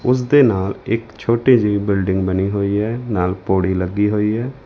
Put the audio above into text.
ਉਸ ਦੇ ਨਾਲ ਇੱਕ ਛੋਟੀ ਜਿਹੀ ਬਿਲਡਿੰਗ ਬਣੀ ਹੋਈ ਹੈ ਨਾਲ ਪੌੜੀ ਲੱਗੀ ਹੋਈ ਹੈ।